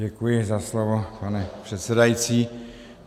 Děkuji za slovo, pane předsedající.